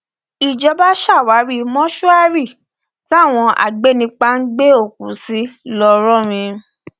ìjọba ṣàwárí mọṣúárì táwọn agbẹnipa ń gbé òkú sí ńlọrọrìn